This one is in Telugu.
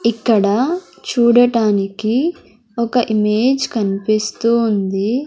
ఇక్కడ చూడటానికి ఒక ఇమేజ్ కన్పిస్తూ ఉంది.